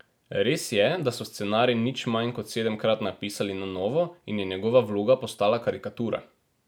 Res je, da so scenarij nič manj kot sedemkrat napisali na novo in je njegova vloga postala karikatura.